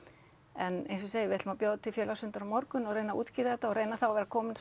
en eins og ég segi við ætlum að bjóða til félagsfundar á morgun og reyna að útskýra þetta og reyna þá að vera komin